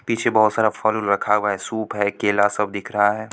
पीछे बोहत सारा फल रखा हुआ है| सूप है केला सब दिख रहा है।